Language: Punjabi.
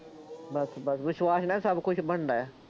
ਬੱਸ ਬੱਸ ਵਿਸ਼ਾਵਾਸ਼ ਨਾਲ ਸਭ ਕੁੱਝ ਬਣਦਾ ਆ,